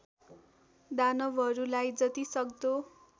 दानवहरूलाई जति सक्दो